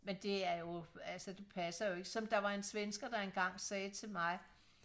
men det er jo altså det passer ikke som der var en svensker der engang sagde til mig